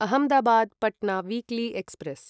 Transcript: Ahmedabad Patna weekly express